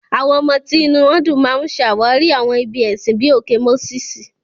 Àwọn ọmọ tí inú wọn dùn máa ń ṣàwárí àwọn ibi ẹ̀sìn bíi òkè Moses.